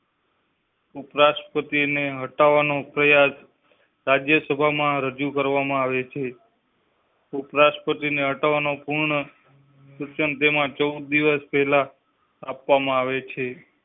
ઉપરાષ્ટ્રપતિ ને હટાવવા નો પ્રયાસ રાજ્યસભા માં રજૂ કરવામાં આવે છે. ઉપરાષ્ટ્રપતિ ને હટાવવા નો પૂર્ણ. ચૌદ દિવસ પેલા આપવામાં આવે છે.